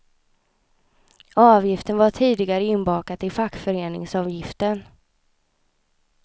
Avgiften var tidigare inbakad i fackföreningsavgiften.